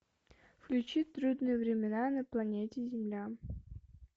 включи трудные времена на планете земля